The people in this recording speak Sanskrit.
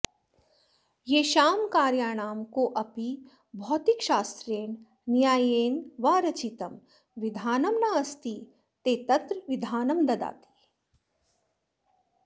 येषां कार्याणां कोऽपि भौतिकशास्त्रेण न्यायेन वा रचितं विधानं नास्ति ते तत्र विधानं ददति